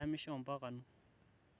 idamisho mpaka anu